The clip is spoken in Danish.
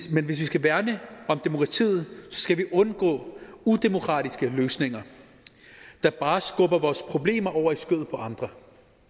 vi skal værne om demokratiet skal vi undgå udemokratiske løsninger der bare skubber vores problemer over i skødet på andre